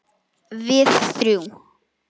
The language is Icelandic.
Við þrjú.